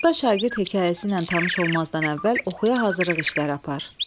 Usta Şagird hekayəsi ilə tanış olmazdan əvvəl oxuya hazırlıq işləri apar.